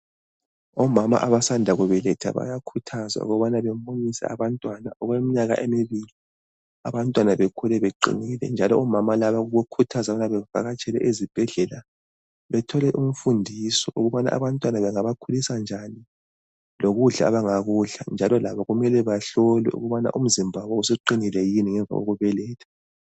Omama abasanda kubeletha bayakhuthazwa ukubana bamunyise abantwana okweminyaka emibili, abantwana bekhule beqinile njalo omama laba babokuthazana ukuthi bavakatshele ezibhedlela bethole imfundiso ukubana abantwana bengabakhulisa njani lokudla abangakudla njalo labo kumele bahlolwe ukubana umzimba suqinile yini ngemva kokubeletha